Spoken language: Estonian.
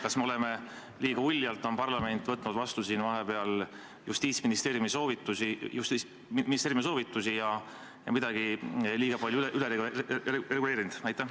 Kas me oleme parlamendis liiga uljalt vastu võtnud Justiitsministeeriumi soovitusi ja midagi kõvasti üle reguleerinud?